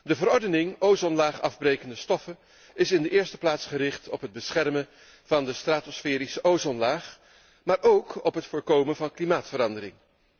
De verordening ozonlaagafbrekende stoffen is in de eerste plaats gericht op het beschermen van de stratosferische ozonlaag, maar ook op het voorkomen van klimaatsverandering.